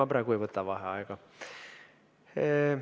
Ma praegu ei võta vaheaega.